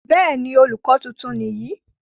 bẹ́ẹ̀ni, olùkọ tuntun nìyí